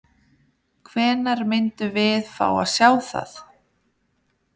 Hvenær myndum við fá að sjá það?